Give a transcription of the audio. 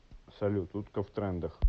салют утка в трендах